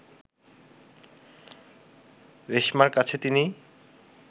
রেশমার কাছে তিনি